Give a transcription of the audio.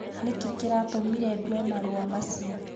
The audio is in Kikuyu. Nĩ kĩĩ kĩratũmire ndue marũa macio?